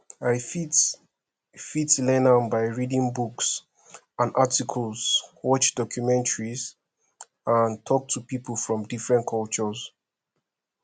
i fit fit learn am by reading books and articles watch documentaries and talk to people from different cultures